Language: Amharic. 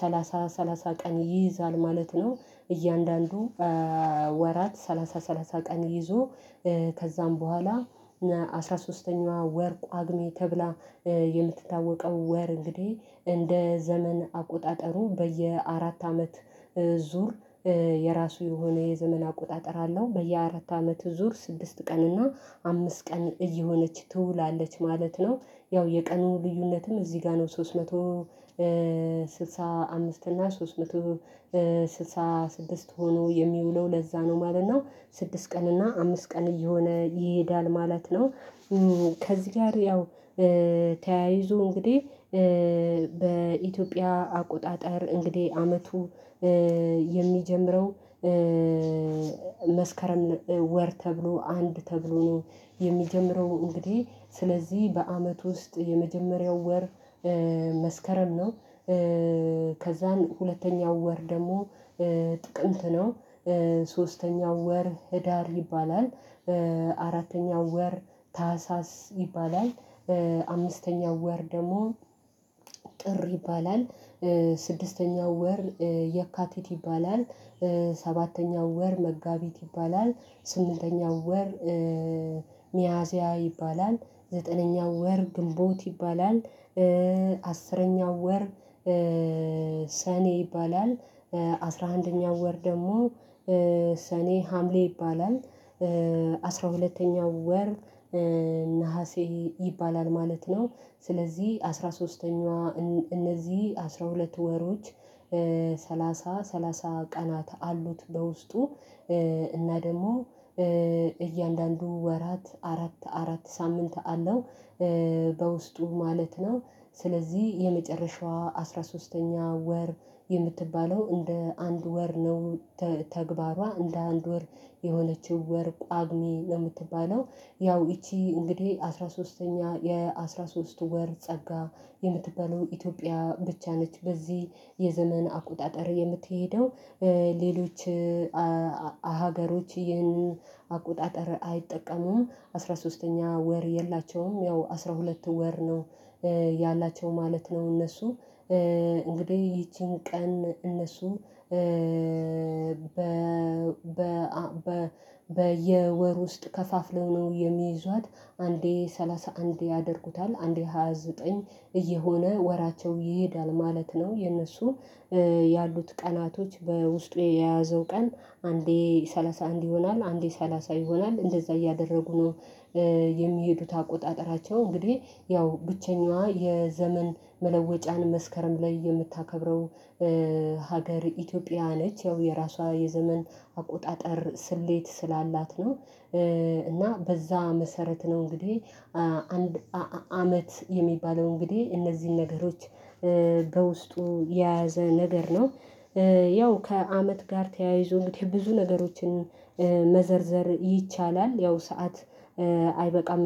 ሰላሳ ሰላሳ ቀን ይይዛል ማለት ነው። እያንዳንዱ ወራት ሰላሳ ሰላሳ ቀን ይዞ ከዛም በኋላ አስራ ሶስተኛዋ ወር ቋግሜ ተብላ የምትታወቀው ወር እንግዲህ እንደ ዘመን አቆጣጠሩ በየ አራት አመት ዙር የራሱ የሆነ የዘመን አቆጣጠር አለው በየአራት አመት ዙር ስድስት ቀን እና አምስት ቀን እየሆነች ትውላለች ማለት ነው። ያው የቀኑ ልዩነትም እዚህ ጋር ነው ሶስት መቶ ስልሳ አምስት እና ሶስት መቶ ስልሳ ስድስት ሆኖ የሚውለው ለዛ ነው ማለት ነው። ስድስት ቀን እና አምስት ቀን እየሆነ ይሄዳል ማለት ነው። ከዚህ ጋር ያው ተያይዞ እንግዲህ በኢትዮጵያ አቆጣጠር እንግዲህ አመቱ የሚጀምረው መስከረም ወር ተብሎ አንድ ተብሎ ነው። የሚጀምረው እንግዲህ ስለዚህ በአመት ውስጥ የመጀመሪያው ወር መስከረም ነው። ከዛን ሁለተኛው ወር ደግሞ ጥቅምት ነው እና እንደውም አስራ ሶስተኛ ወር ጨምሮ የያዘ ነው። እንደ ኢትዮጵያው ዘመን አቆጣጠር ማለት ነው አንድ አመት አስራ ሶስት ወራት አሉት ማለት ነው። በውስጡ እነዚህ አስራ ሶስት ወራት አስራ ሁለቱ ወራት ሰላሳ ሰላሳ ቀን ይይዛል ማለት ነው። እያንዳንዱ ወራት ሰላሳ ሰላሳ ቀን ይዞ ከዛም በኋላ አስራ ሶስተኛዋ ወር ቋግሜ ተብላ ሰባተኛው ወር መጋቢት ይባላል። ስምንተኛው ወር ሚያዚያ ይባላል። ዘጠነኛው ወር ግንቦት ይባላል። አስረኛው ወር ሰኔ ይባላል። አስራ አንደኛው ወር ደግሞ ሰኔ ሀምሌ ይባላል። አስራ ሁለተኛው ወር ነሀሴ ይባላል ማለት ነው። ስለዚህ አስራ ሶስተኛዋ እነዚህ አስራ ሁለት ወሮች ሰላሳ ሰላሳ ቀናት አሉት በውስጡ እና ደግሞ እያንዳንዱ ወራት አራት አራት ሳምንት አለው በውስጡ ማለት ነው። ስለዚህ የመጨረሻዋ አስራ ሶስተኛ ወር የምትባለው እንደ አንድ ወር ነው ተግባሯ እንደ አንድ ወር የሆነችው ወር ጳጉሜን የምትባለው ያው ይቺ እንግዲህ አስራ ሶስተኛ የአስራ ሶስት ወር ጸጋ የምትባለው ኢትዮጵያ ብቻ ነች። በዚህ የዘመን አቆጣጠር የምትሄደው ሌሎች ሀገሮች ይህን አቆጣጠር አይጠቀሙም አስራ ሶስተኛ ወር የላቸውም ያው አስራ ሁለት ወር ነው። ያላቸው ማለት ነው እነሱ እንግዲህ ይቺን ቀን እነሱ በ በ በየወር ውስጥ ከፋፍለው ነው የሚይዟት አንዴ ሰላሳ አንድ ያደርጉታል አንዴ ሃያ ዘጠኝ እየሆነ ወራቸው ይሄዳል ማለት ነው። የነሱ ያሉት ቀናቶች በውስጡ የያዘው ቀን አንዴ ሰላሳ አንድ ይሆናል አንዴ ሰላሳ ይሆናል እንደዛ እያደረጉ ነው። የሚሄዱት አቆጣጠራቸው እንግዲህ ያው ብቸኛዋ የዘመን መለወጫን መስከረም ላይ የምታከብረው ሀገር ኢትዮጵያ ነች። ያው የራሷ የዘመን አቆጣጠር ስሌት ስላላት ነው። እና በዛ መሰረት ነው እንግዲህ አንድ አመት የሚባለው እንግዲህ እነዚህን ነገሮች በውስጡ የያዘ ነገር ነው። ያው ከአመት ጋር ተያይዞልኝ ብዙ ነገሮችን መዘርዘር ይቻላል። ያው ሰዓት አይበቃም